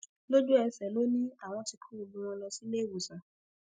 lójúẹsẹ ló ní àwọn tí kó gbogbo wọn lọ sí iléèwòsàn